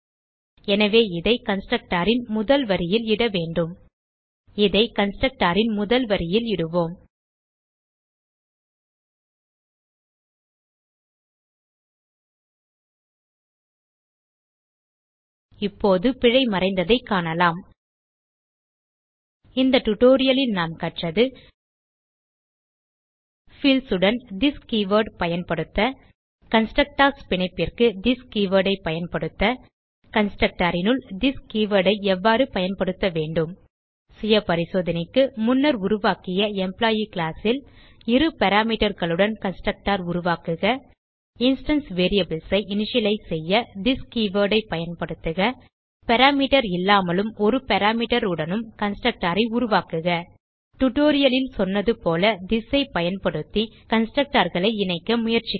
எனவே இதை கன்ஸ்ட்ரக்டர் ன் முதல் வரியில் இட வேண்டும் இதை கன்ஸ்ட்ரக்டர் ன் முதல் வரியில் இடுவோம் இப்போது பிழை மறைந்ததைக் காணலாம் இந்த டியூட்டோரியல் ல் நாம் கற்றது fieldsஉடன் திஸ் கீவர்ட் பயன்படுத்த கன்ஸ்ட்ரக்டர்ஸ் பிணைப்பிற்கு திஸ் கீவர்ட் ஐ பயன்படுத்த constructorனுள் திஸ் கீவர்ட் ஐ எவ்வாறு பயன்படுத்த வேண்டும் சுய பரிசோதனைக்கு முன்னர் உருவாக்கிய எம்ப்ளாயி கிளாஸ் ல் இரு parameterகளுடன் கன்ஸ்ட்ரக்டர் உருவாக்குக இன்ஸ்டான்ஸ் வேரியபிள்ஸ் ஐ இனிஷியலைஸ் செய்ய திஸ் கீவர்ட் ஐ பயன்படுத்துக பாராமீட்டர் இல்லாமலும் ஒரு parameterஉடனும் கன்ஸ்ட்ரக்டர் உருவாக்குக டியூட்டோரியல் ல் சொன்னது போல திஸ் ஐ பயன்படுத்தி constructorகளை இணைக்க முயற்சிக்கவும்